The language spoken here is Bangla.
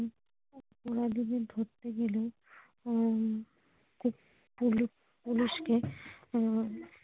অপরাধীদের ধরতে গেলে উম Policepolice কে আহ ।